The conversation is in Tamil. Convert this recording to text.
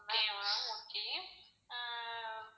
Okay ma'am okay ah